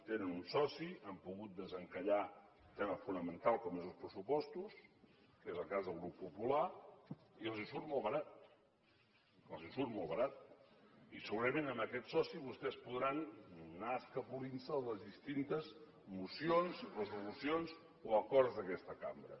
tenen un soci han pogut desencallar tema fonamental com són els pressupostos que és el cas del grup popular i els surt molt barat els surt molt barat i segurament amb aquest soci vostès podran anar escapolint se de les distintes mocions resolucions o acords d’aquesta cambra